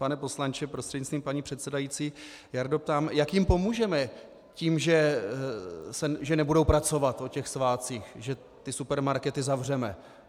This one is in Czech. Pane poslanče prostřednictvím paní předsedající, Jardo, ptám, jak jim pomůžeme tím, že nebudou pracovat o těch svátcích, že ty supermarkety zavřeme?